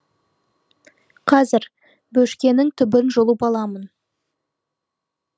қазір бөшкенің түбін жұлып аламын